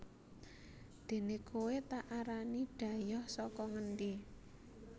déné kowé tak arani dhayoh saka ngendi